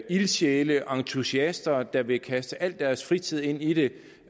ildsjæle entusiaster der vil kaste al deres fritid ind i det